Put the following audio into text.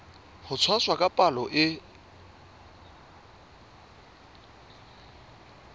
ho tshwasa ka palo e